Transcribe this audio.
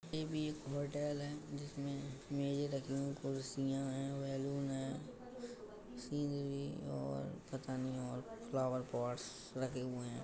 ये बी एक होटेल है जिसमें मेजें रखे हुए कुर्सीयां हैं बैलून है और पता नहीं और फ्लोवेर्पोट्स रखे हुए हैं।